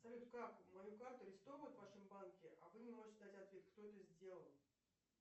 салют как мою карту арестовывают в вашем банке а вы не можете дать ответ кто это сделал